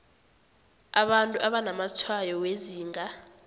abantu abanamatshwayo wezinga